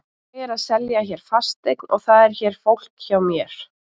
Ég er að selja hér fasteign og það er hér fólk hjá mér.